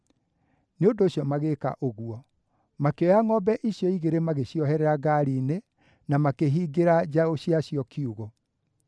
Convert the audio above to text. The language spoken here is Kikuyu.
Nĩ ũndũ ũcio magĩĩka ũguo. Makĩoya ngʼombe icio igĩrĩ magĩcioherera ngaari-inĩ, na makĩhingĩra njaũ ciacio kiugũ.